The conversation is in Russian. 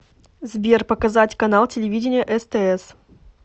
сбер показать канал телевидения стс